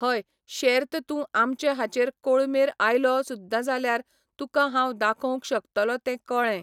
हय शेर्त तूं आमचे हाचेर कोळमेर आयलो सुद्दां जाल्यार तुका हांव दाखोवंक शकतलों तें कळ्ळें.